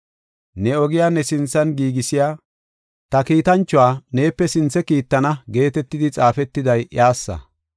“Ne ogiya ne sinthan giigisiya ta kiitanchuwa neepe sinthe kiittana” geetetidi xaafetiday iyassa.